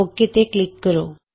okay ਤੇ click ਕਰੋ